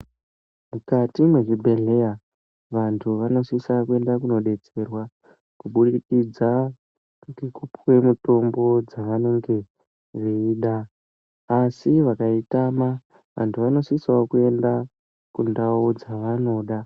Mukati mwezvibhehleya vantu vanosisa kuenda kunodetserwa kuburikidza ngekupuwe mitombo dzavanenge veida asi vakaitama vantu vanosisawo kuenda kundau dzavanoda.